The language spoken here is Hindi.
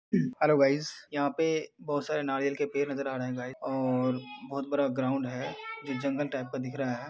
Hello guys ! यहाँ पे बहोत सारे नारियल के पेड़ नजर आ रहे हैं गाइस और बहोत बड़ा ग्राउंड है जो जंगल टाइप का दिख रहा है।